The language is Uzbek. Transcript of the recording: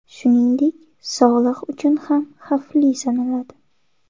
Shuningdek, sog‘liq uchun ham xavfli sanaladi.